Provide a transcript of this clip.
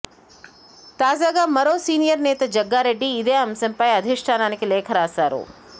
తాజాగా మరో సీనియర్ నేత జగ్గారెడ్డి ఇదే అంశంపై అధిష్టానానికి లేఖ రాశారు